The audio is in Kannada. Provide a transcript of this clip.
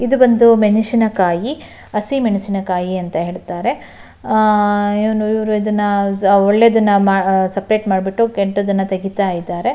ಇದು ಬಂದು ಮೆಣಸಿನ ಕಾಯಿ ಹಸಿಮೆಣಸಿನ ಕಾಯಿ ಅಂತ ಹೇಳ್ತಾರೆ ಆಆ ಇವ್ನು ಇವ್ರು ಇದನ್ನ ಒಳ್ಳೆಯದನ್ನು ಸಪರೇಟ್ ಮಾಡ್ಬಿಟ್ಟು ಕೆಟ್ಟದನ್ನು ತೆಗೀತಾ ಇದ್ದಾರೆ.